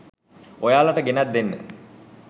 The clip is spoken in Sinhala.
ඔයාලට ගෙනැත් දෙන්න.